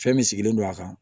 Fɛn min sigilen don a kan